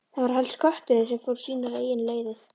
Það var helst kötturinn sem fór sínar eigin leiðir.